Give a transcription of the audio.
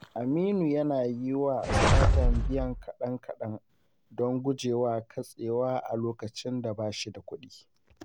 Aminu yana yi wa StarTimes biyan kaɗan-kaɗan don guje wa katsewa a lokacin da ba shi da kudi.